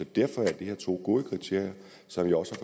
derfor er det her to gode kriterier som jeg også